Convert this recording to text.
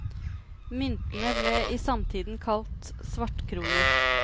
Myntene ble i samtiden kalt svartkroner.